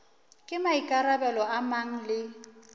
ke maikarabelo a mang le